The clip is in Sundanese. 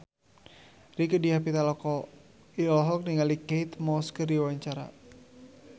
Rieke Diah Pitaloka olohok ningali Kate Moss keur diwawancara